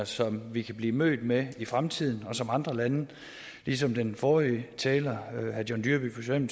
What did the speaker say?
som vi kan blive mødt med i fremtiden og som andre lande ligesom den forrige taler herre john dyrby paulsen